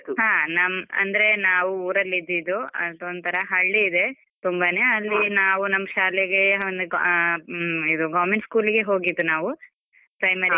ಹಾ, ನಮ್ ಅಂದ್ರೆ ನಾವು ಊರಲಿದ್ದೀದು ಅದೊಂತರಾ ಹಳ್ಳಿ ಇದೆ. ತುಂಬಾನೇ ಅಲ್ಲಿ ನಮ್ ಶಾಲೆಗೆ ಒಂದು ಆ ಹು ಇದು government school ಗೆ ಹೋಗಿದ್ದು ನಾವು primary ಇಂದ.